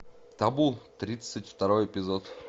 табу тридцать второй эпизод